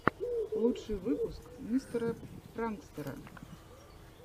лучший выпуск мистера пранкстэра